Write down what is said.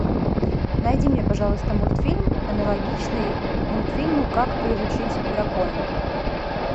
найди мне пожалуйста мультфильм аналогичный мультфильму как приручить дракона